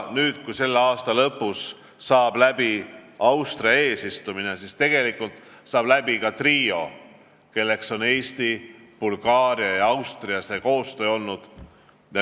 Nüüd, aasta lõpus, saab läbi Austria eesistumine ja koostöö lõpetab ka trio, kelleks on Eesti, Bulgaaria ja Austria.